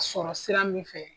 Sɔrɔ sira min fɛ